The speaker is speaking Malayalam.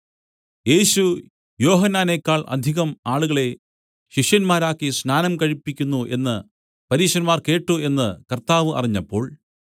യേശു യോഹന്നാനേക്കാൾ അധികം ആളുകളെ ശിഷ്യന്മാരാക്കി സ്നാനം കഴിപ്പിക്കുന്നു എന്നു പരീശന്മാർ കേട്ട് എന്നു കർത്താവ് അറിഞ്ഞപ്പോൾ